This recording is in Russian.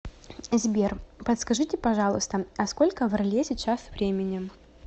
сбер подскажите пожалуйста а сколько в орле сейчас времени